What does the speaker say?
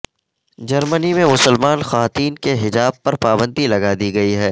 جرمنی میں مسلمان خواتین کے حجاب پر پابندی لگا دی گئی ہے